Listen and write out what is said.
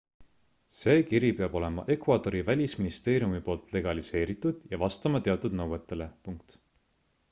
see kiri peab olema ecuadori välisministeeriumi poolt legaliseeritud ja vastama teatud nõuetele